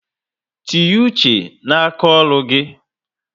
Tinye uche na aka ọrụ gị